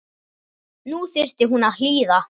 Nú þyrfti hún að hlýða.